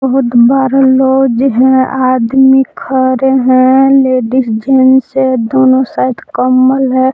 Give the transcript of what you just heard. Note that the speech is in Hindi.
बहुत बरा लॉज है आदमी खड़े हैं लेडिस जेंट्स है दोनों साइड कंबल है।